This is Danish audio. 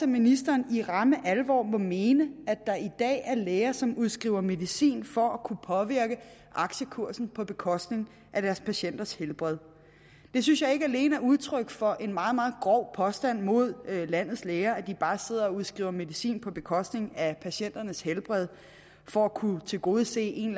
ministeren i ramme alvor må mene at der i dag er læger som udskriver medicin for at kunne påvirke aktiekursen på bekostning af deres patienters helbred det synes jeg ikke alene er udtryk for en meget meget grov påstand mod landets læger nemlig at de bare sidder og udskriver medicin på bekostning af patienternes helbred for at kunne tilgodese en